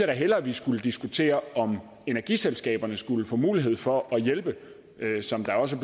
da hellere vi skulle diskutere om energiselskaberne skulle få mulighed for at hjælpe som det også